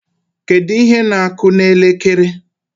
Kedu ihe na-akụ n' elekere?